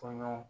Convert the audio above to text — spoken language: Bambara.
Kɔɲɔ